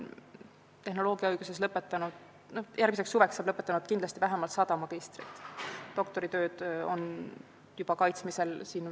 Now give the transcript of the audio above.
Suveks lõpetab vähemalt sada magistrit ja täiendusõppijat.